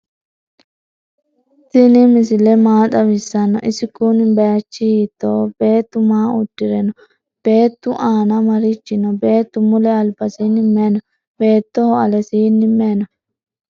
tini miaile maa xawisano? isi kuuni bayichu hitoho? betu maa udire no?bettu aana marichi no?bettu mule albasini mayi no beetoho alesini mayi no?